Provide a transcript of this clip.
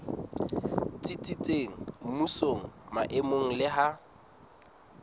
tsitsitseng mmusong maemong le ha